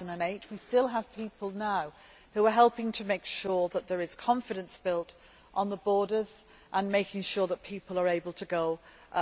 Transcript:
2008. We still have people now who are helping to make sure that there is confidence built on the borders and making sure that people are able to go